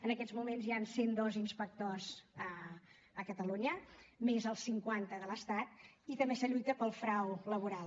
en aquests moments hi han cent dos inspectors a catalunya més els cinquanta de l’estat i també es lluita pel frau laboral